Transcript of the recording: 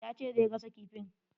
Ya ce zai gasa kifin.